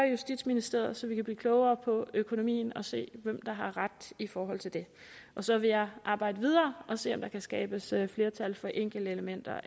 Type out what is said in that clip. i justitsministeriet så vi kan blive klogere på økonomien og se hvem der har ret i forhold til det og så vil jeg arbejde videre og se om der kan skabes flertal for enkeltelementer